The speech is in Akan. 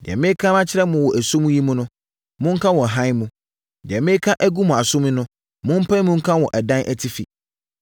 Deɛ mereka makyerɛ mo wɔ esum mu yi, monka wɔ hann mu. Deɛ mereka agu mo asom yi, mompae mu nka wɔ adan atifi.